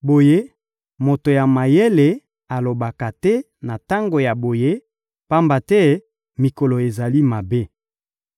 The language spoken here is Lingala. Boye, moto ya mayele alobaka te na tango ya boye, pamba te mikolo ezali mabe.